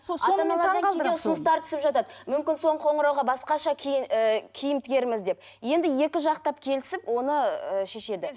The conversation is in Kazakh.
ұсыныстар түсіп жатады мүмкін соңғы қоңырауға басқаша і киім тігерміз деп енді екі жақтап келісіп оны ы шешеді